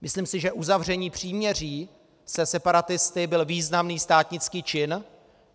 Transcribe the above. Myslím si, že uzavření příměří se separatisty byl významný státnický čin.